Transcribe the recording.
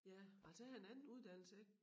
Ja altså jeg har en anden uddannelse jeg